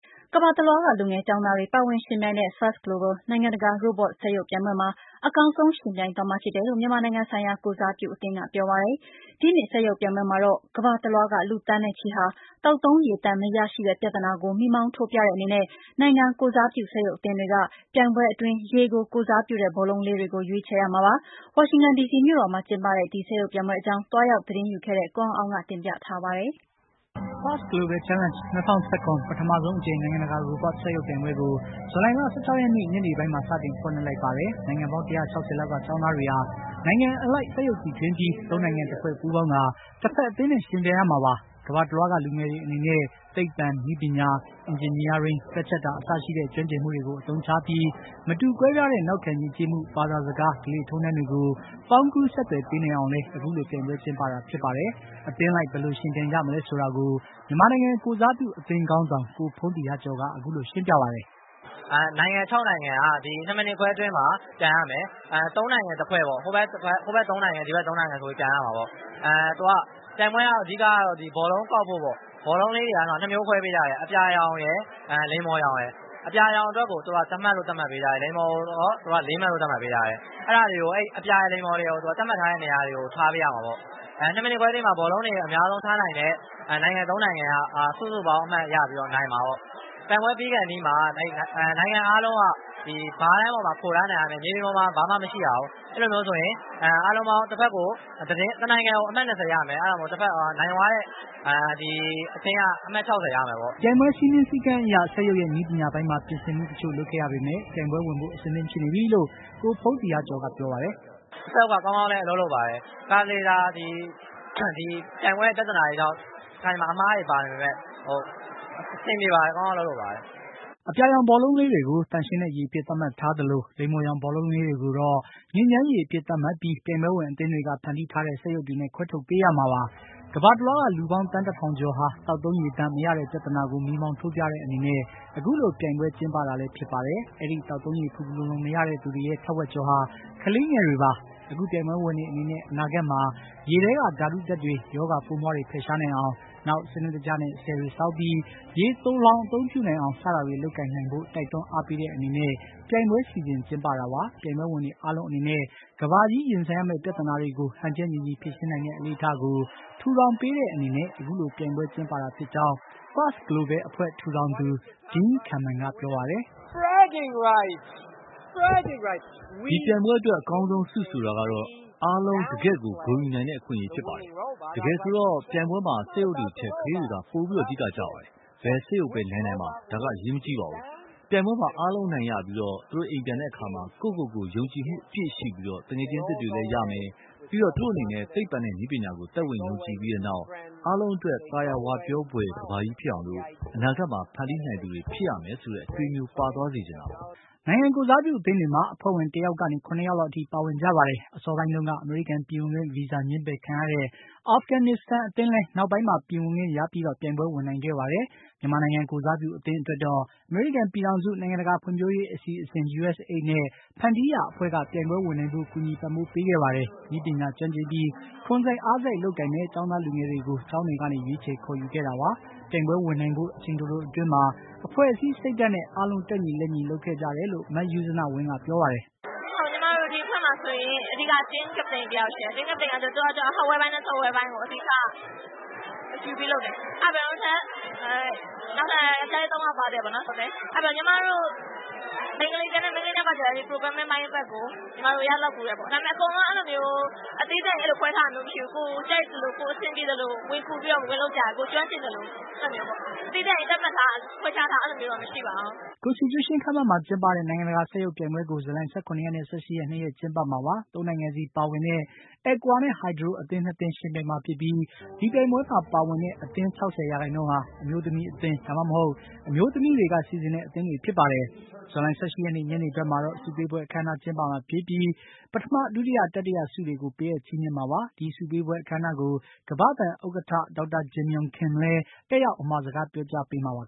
ကမ္ဘာတလွှားက လူငယ်ကျောင်းသားတွေ ပါဝင်ယှဉ်ပြိုင်တဲ့ First Global နိုင်ငံတကာ Robot စက်ရုပ်ပြိုင်ပွဲမှာအကောင်းဆုံး ယှဉ်ပြိုင်သွားမှာဖြစ်တယ်လို့ မြန်မာနိုင်ငံဆိုင်ရာ ကိုယ်စားပြုအသင်းက ပြောပါတယ်။ ဒီနှစ် စက်ရုပ်ပြိုင်ပွဲမှာတော့ ကမ္ဘာတလွှားက လူသန်းနဲ့ချီဟာ သောက်သုံးရေသန့် မရရှိတဲ့ပြဿနာကို မီးမောင်းထိုးပြတဲ့အနေနဲ့ နိုင်ငံကိုယ်စားပြု စက်ရုပ်အသင်းတွေဟာ ပြိုင်ပွဲအတွင်း ရေကိုယ်စားပြု ဘောလုံးလေးတွေကို ရွေးချယ်ရမှာပါ။ ဝါရှင်တန် ဒီစီမြို့တော်မှာ ကျင်းပတဲ့ ဒီ စက်ရုပ်ပြိုင်ပွဲအကြောင်း သွားရောက် သတင်းယူခဲ့တဲ့ ကိုအောင်အောင်က တင်ပြပေးမှာပါ။ First Global Challange ၂၀၁၇ ပထမဆုံးအကြိမ် နိုင်ငံတကာ Robot စက်ရုပ် ပြိုင်ပွဲကို ဇူလိုင်လ ၁၆ ရက်နေ့ ညနေပိုင်းမှာ စတင်ဖွင့်လိုက်ပါတယ်။ နိုင်ငံပေါင်း ၁၆၀ လောက်က ကျောင်းသားတွေဟာ နိုင်ငံအလိုက် စက်ရုပ်တီထွင်ပြီး ၃ နိုင်ငံ တဖွဲ့ပူးပေါင်းကာ တဖက် အသင်းနဲ့ ယှဉ်ပြိုင်ရမှာပါ။ ကမ္ဘာတလွှားက လူငယ်တွေအနေနဲ့ သိပ္ဗံ၊ နည်းပညာ၊ အင်ဂျင်နီယားရင်း၊ တွက်ချက်တာ အစရှိတဲ့ ကျွမ်းကျင်မှုတွေကို အသုံးချပြီး မတူကွဲပြားတဲ့ နောက်ခံယဉ်ကျေးမှု၊ ဘာသာစကား၊ ဓလေ့ထုံးတမ်းတွေ ကို ပေါင်းကူးဆက်သွယ်ပေးနိုင်အောင်လည်း အခုလို ပြိုင်ပွဲကျင်းပတာဖြစ်ပါတယ်။ အသင်းလိုက် ဘယ်လိုယှဉ်ပြိုင်ကြမလဲ ဆိုတာကိုမြန်မာနိုင်ငံကိုယ်စားပြု အသင်းခေါင်းဆောင် ကိုဖုန်းသီဟကျော်က အခုလိုရှင်းပြပါတယ်။ “နိုင်ငံ ၆ နိုင်ငံက ၂ မိနစ်ခွဲအတွင်းမှာ ပြိုင်ရမယ်။ ၃ နိုင်ငံ တဖွဲ့ပေါ့နော်။ ဟိုဘက် ၃ နိုင်ငံ၊ ဒီဘက် ၃ နိုင်ငံ ဆိုပြီးပြိုင်ရမှာပေါ့။ ပြိုင်ပွဲက အဓိကတော့ ဒီဘောလုံးကောက်ဖို့ပေါ့ ဘော်လုံးလေးတွေက ၂ မျိုးခွဲပေးထားတယ် အပြာရယ် လိမ္မော်ရောင်ရယ်။ အပြာရောင်ကိုတော့ ၁ မှတ်၊ လိမ္မော်ရောင် ကိုတော့ ၄ မှတ်သတ်မှတ်ပေးထားတယ်။ အဲဒီ အပြာ၊ လိမ္မော်တွေကို သူတို့ သတ်မှတ်ထားတဲ့ နေရာကိုထားပေးရမှာပေါ့ ။ ၂ မိနစ်ခွဲအတွင်းမှာ အများဆုံးဘောလုံးတွေထားနိုင်တဲ့ နိုင်ငံ၃ နိုင်ငံက စုစုပေါင်းအမှတ်ရပြီးတော့ နိုင်မှာပေါ့။ ပြိုင်ပွဲပြီးခါနီးမှာ နိုင်ငံအားလုံးက ဘားတန်းပေါ်မှာ ခိုနားနေရမယ် မြေပြင်ပေါ်မှာ ဘာမှ မရှိရဘူး။ အဲဒါမျိုးဆိုရင် တနိုင်ငံကို အမှတ် ၂၀ ရမယ် အဲဒါကြောင့် နိုင်သွားတဲ့အသင်းက အမှတ် ၆၀ ရမယ်ပေါ့။” ပြိုင်ပွဲစည်းမျဉ်းစည်းကမ်းအရ စက်ရုပ်ရဲ့ နည်းပညာပိုင်းမှာ ပြင်ဆင်မှုတချို့လုပ်ခဲ့ရပေမယ့် ပြိုင်ပွဲဝင်ဖို့ အသင့်ဖြစ်နေပြီလို့ ကိုဖုန်းသီဟကျော်ကပြောပါတယ်။ “စက်ရုပ်ကကောင်းကောင်းအလုပ်လုပ်ပါတယ်။ တခါတလေ ပြိုင်ပွဲပြဿနာတွေကြောင့် တခါတလေအမှားတွေပါပေမယ့် အဆင်ပြေပါတယ်။ ကောင်းကောင်းအလုပ်လုပ်ပါတယ်။” အပြာရောင်ဘောလုံးလေးတွေကို သန့်ရှင်းတဲ့ရေအဖြစ် သတ်မှတ်ထားသလို လိမ္မော်ရောင်ဘောလုံးလေးတွေကိုတော့ ညစ်ညမ်းရေအဖြစ် သတ်မှတ်ပြီး ပြိုင်ပွဲဝင်အသင်းတွေက ဖန်တီးထားတဲ့ စက်ရုပ်တွေနဲ့ ခွဲထုတ်ပေးရမှာပါ။ ကမ္ဘာတလွှားက လူပေါင်းသန်းတထောင်ကျော်ဟာ သောက်သုံးရေသန့် မရတဲ့ပြသနာကို မီးမောင်းထိုးပြတဲ့အနေနဲ့ အခုလို ပြိုင်ပွဲကျင်းပတာပါ။ အဲဒီ သောက်သုံးရေ ဖူဖူလုံလုံမရတဲ့သူတွေရဲ့ ထက်ဝက်ကျော်ဟာ ကလေးငယ်တွေ ဖြစ်ပါတယ်။ အခုပြိုင်ပွဲဝင်တွေအနေနဲ့ အနာဂါတ်မှာ ရေထဲက ဓါတုဓါတ်တွေ၊ ရောဂါပိုးမွှားတွေ ဖယ်ရှားနိုင်အောင်၊ နောက် စနစ်တကျနဲ့ ဆည်တွေဆောက်ပြီး ရေသိုလှောင် အသုံးပြုနိုင်အောင် စတာတွေ လုပ်ကိုင်နိုင်ဖို့ တိုက်တွန်း အားပေးတဲ့အနေနဲ့ ပြိုင်ပွဲစီစဉ် ကျင်းပတာလည်းဖြစ်ပါတယ်။ပြိုင်ပွဲဝင်တွေအားလုံးအနေနဲ့ ကမ္ဘာကြီးရင်ဆိုင်ရမယ့် ပြဿနာတွေကို ဟန်ချက်ညီညီဖြေရှင်းနိုင်တဲ့ အလေ့အထကို ထူထောင်ပေးတဲ့အနေနဲ့ အခုပြိုင်ပွဲကျင်းပတာဖြစ်ကြောင်း First Blobel အဖွဲ့ ထူထောင်သူ Dean Kamen ကပြောပါတယ်။ “ဒီပြိုင်ပွဲအတွက် အကောင်းဆုံးဆုဆိုတာကတော့ အားလုံး ဂုဏ်ယူနိုင်တဲ့ အခွင့်အရေးဖြစ်ပါတယ်။ တကယ်ဆိုတော့ ပြိုင်ပွဲမှာ စက်ရုပ်တွေထက် ကလေးတွေက ပိုပြီး အဓိကကျပါတယ်။ ဘယ်စက်ရုပ်ပဲနိုင်နိုင်ပါ။ ဒါဟာ အရေးမကြီးပါဘူး။ ပြိုင်ပွဲမှာ အားလုံးအနိုင်ရပြီး သူတို့အိမ်ပြန်တဲ့အခါမှာ ကိုယ်ကိုယ်ကိုယ် ယုံကြည်မှုအပြည့်ရှိပြီး သူငယ်ချင်းသစ်တွေလည်းရမယ်။ ပြီးတော့ သူတို့အနေနဲ့ သိပ္ဗံနဲ့ နည်းပညာကို သက်ဝင်ယုံကြည်ပြီးနောက် အားလုံးအတွက် သာယာဝပြောဖွယ်ကမ္ဘာကြီးဖြစ်အောင် အနာဂါတ်မှာ ဖန်တီးနိုင်သူတွေဖြစ်ရမယ်ဆိုတဲ့ အတွေးမျိုး ပါသွားစေချင်တာပါ။” နိုင်ငံကိုယ်စားပြုအသင်းတွေမှာ အဖွဲ့ဝင် တယောက်ကနေ ၇ ယောက်လောက်အထိပါဝင်ကြပါတယ်။ အစောပိုင်းတုန်းက အမေရိကန် ပြည်ဝင်ခွင့်ဗီဇာ ငြင်းပယ်ခံရတဲ့အာဖဂန်နစ္စတန်အသင်း လည်း နောက်ပိုင်းမှာ ပြည်ဝင်ခွင့် ရပြီး ပြိုင်ပွဲဝင်နိုင်ခဲ့ပါတယ်။ မြန်မာနိုင်ငံကိုယ်စားပြုအသင်းအတွက်တော့ အမေရိကန်ပြည်ထောင်စု နိုင်ငံတကာဖွံ့ဖြိုးရေး အစီအစဉ် USAID နဲ့ ဖန်တီးရာအဖွဲ့က ပြိုင်ပွဲဝင်နိုင်ဖို့ ကူညီပံ့ပိုးပေးခဲ့ပါတယ်။ နည်းပညာကျွမ်းကျင်ပြီး ခွန်စိုက်အားစိုက် လုပ်ကိုင်မယ့်ကျောင်းသားလူငယ်တွေကို ကျောင်းတွေကနေ ရွေးချယ်ခေါ်ယူခဲ့တာပါ။ ပြိုင်ပွဲဝင်နိုင်ဖို့ အချိန်တိုတိုအတွင်းမှာ အဖွ့ဲ့အစည်း စိတ်ဓါတ်နဲ့ အားလုံး တက်ညီလက်ညီ လုပ်ခဲ့ကြတယ်လို့ မယုဇနဝင်းက ပြောပါတယ်။ “ညီမတို့ ဒီအဖွဲ့မှာဆိုရင် အဓိက Team captain တယောက်ရှိတယ်၊ Team captain ကတော့ hardware ပိုင်းနဲ့ software အပိုင်းကို အဓိက တာဝန်ယူပြီးလုပ်တယ်။ နောက်ပြီးတော့ နောက်ထပ် ယောင်္ကျားလေး ၃ ယောက်ပါတယ်ပေါ့နော်။ ညီမတို့ ကျန်တဲ့ မိန်းကလေးတွေကတော့ Programming ပိုင်းကို ရသလောက်ကူတယ်ပေါ့နော်။ အဲဒီတော့ အကုန်လုံးသီးသန့်ခွဲထားတာမရှိဘူး။ ကိုယ်ကြိုက်သလို အဆင်ပြေသလို ဝင်လုပ်ကြတယ် ။ ကိုယ်ကျွမ်းကျင်သလို ၊ သီးသန့်ကြီးသတ်မှတ်ထားတာ ခွဲခြားထားတာ အဲလိုမျိုးတော့ မရှိပါဘူး။” Constitution ခန်းမမှာ ကျင်းပတဲ့ နိုင်ငံတကာ စက်ရုပ်ပြိုင်ပွဲကို ဇူလိုင် ၁၇ ရက်နဲ့ ၁၈ ရက် ၂ ရက်ကျင်းပမှာပါ။၃ နိုင်ငံစီပါဝင်တဲ့ အက်ကွာနဲ့ ဟိုက်ဒရို အသင်း ၂ သင်းယှဉ်ပြိုင်မှာဖြစ်ပြီး ဒီပြိုင်ပွဲမှာ ပါဝင်တဲ့ အသင်းဝင် ၆၀ ရာခိုင်နှုန်းဟာ အမျိုးသမီးအသင်း ဒါမှမဟုတ် အမျိုးသမီးတွေက စီစဉ်တဲ့ အသင်းတွေဖြစ်ပါတယ်။ ဇူလိုင်၁၈ ရက်နေ့ညနေဖက်မှာတော့ ဆုပေးပွဲအခမ်းအနားကျင်းပမှာဖြစ်ပြီး ပထမ ဒုတိယ တတိယ ဆုတွေကို ပေးအပ်ချီးမြှင့်မှာပါ။ ဒီဆုပေးပွဲအခမ်းအနားကို ကမ္ဘာ့ဘဏ်ဥက္ကဌ ဒေါက်တာ Jim Yong Kim လည်း တက်ရောက် အမှာစကား ပြောကြားပေးမှာပါ